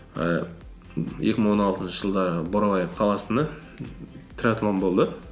ііі екі мың он алтыншы жылдары бурабай қаласында триатлон болды